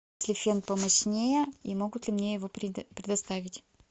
фен помощнее и могут ли мне его предоставить